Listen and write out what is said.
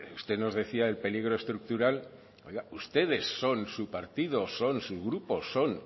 usted nos decía el peligro estructural oiga ustedes son su partido son su grupo son